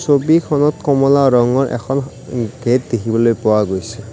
ছবিখনত কমলা ৰঙৰ এখন গেট দেখিবলৈ পোৱা গৈছে।